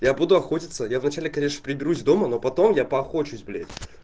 я буду охотится я вначале конечно приберусь дома но потом я поохочусь блять